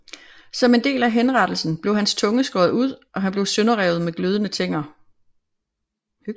Som en del af henrettelsen blev hans tunge skåret ud og han blev sønderrevet med glødende tænger